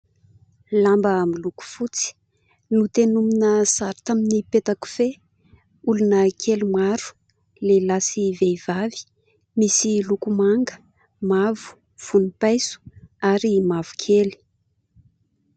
Lamba miloko fotsy notenona sary tamin'ny petakofehy olona kely maro ; lehilahy sy vehivavy misy loko manga, mavo, vonim-paiso ary mavokely.